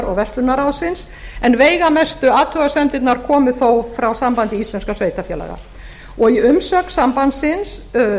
verslunarráðsins en veigamestu athugasemdirnar komu þó frá sambandi íslenskra sveitarfélaga í umsögn sambandsins